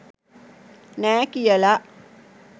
නෑ කියල